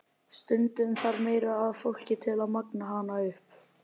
Stundum þarf meira af fólki til að magna hana upp.